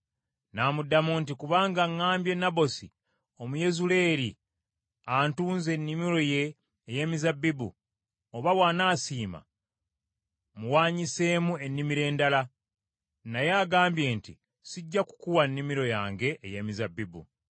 N’amuddamu nti, “Kubanga ŋŋambye Nabosi Omuyezuleeri antunze ennimiro ye ey’emizabbibu, oba bw’anaasiima muwaanyiseemu ennimiro endala. Naye agambye nti, ‘Sijja kukuwa nnimiro yange ey’emizabbibu.’ ”